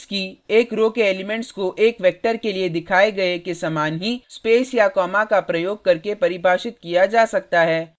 एक मेट्रिक्स की एक रो के एलिमेंट्स को एक वेक्टर के लिए दिखाए गए के समान ही स्पेस या कॉमा का प्रयोग करके परिभाषित किया जा सकता है